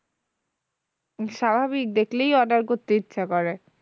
স্বাভাবিক দেখলেই order করতে ইচ্ছা করে